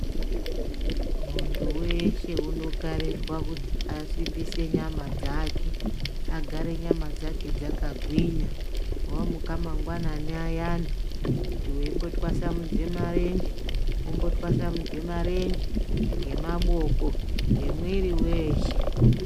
Muntu weshe unokarirwa kuti asimbise nyama dzake, agare nyama dzake dzakagwinya. Wamuka mangwananai ayani kuti weimbotwasumudze marenje, wotwasamudze marenje ngemaboko, ngemwiri weeshe.